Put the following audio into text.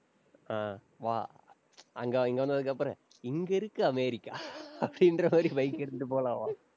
அஹ் வா. அங்கே, இங்கே வந்ததுக்கு அப்புறம், இங்கே இருக்கு அமெரிக்கா அப்படின்ற மாதிரி, bike எடுத்துட்டுப் போலாம் வா.